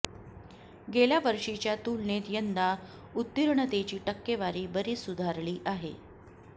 गेल्या वर्षीच्या तुलनेत यंदा उत्तीर्णतेची टक्केवारी बरीच सुधारली आहे